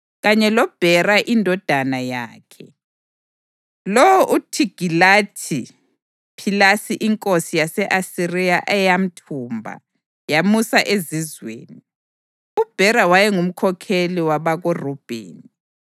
kanye loBhera indodana yakhe, lowo uThigilathi-Philesa inkosi yase-Asiriya eyamthumba yamusa ezizweni. UBhera wayengumkhokheli wabakoRubheni.